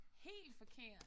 Helt forkert?